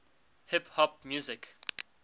hip hop music